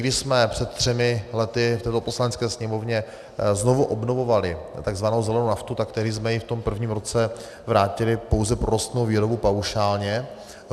Když jsme před třemi lety v této Poslanecké sněmovně znovu obnovovali takzvanou zelenou naftu, tak tehdy jsme ji v tom prvním roce vrátili pouze pro rostlinnou výrobu paušálně.